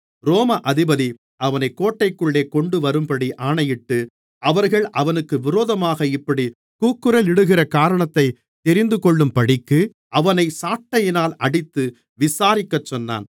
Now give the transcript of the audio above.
ரோம அதிபதி அவனைக் கோட்டைக்குள்ளே கொண்டுவரும்படி ஆணையிட்டு அவர்கள் அவனுக்கு விரோதமாக இப்படிக் கூக்குரலிடுகிறக் காரணத்தை தெரிந்துகொள்ளும்படிக்கு அவனை சாட்டையினால் அடித்து விசாரிக்கச் சொன்னான்